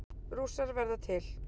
Rússar verða til